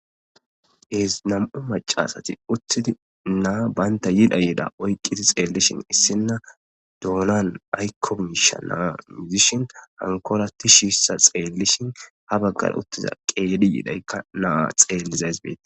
Nam'u macasati uttidi naa baynta yidha yida oyqqiti xeellishin issinna doolan aykomisha naa muzishin hankolati shiissa xeellishin ha baggar uttiza qedi yidaykka naa xeellizays beetees.